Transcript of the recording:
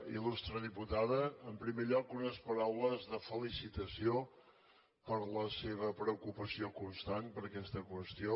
il·en primer lloc unes paraules de felicitació per la seva preocupació constant per aquesta qüestió